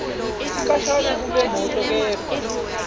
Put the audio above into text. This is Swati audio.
sikhashana kulemoto kepha